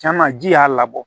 Caman ji y'a labɔ